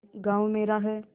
गॉँव मेरा है